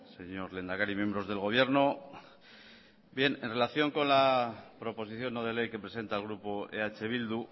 señor lehendakari miembros del gobierno bien en relación con la proposición no de ley que presenta el grupo eh bildu